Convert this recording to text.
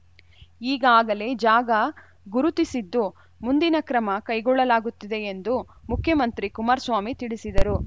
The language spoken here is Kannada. ಈಗಾಗಲೇ ಜಾಗ ಗುರುತಿಸಿದ್ದು ಮುಂದಿನ ಕ್ರಮ ಕೈಗೊಳ್ಳಲಾಗುತ್ತಿದೆ ಎಂದು ಮುಖ್ಯಮಂತ್ರಿ ಕುಮಾರಸ್ವಾಮಿ ತಿಳಿಸಿದರು